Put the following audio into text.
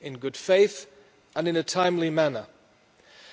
in good faith and in a timely manner.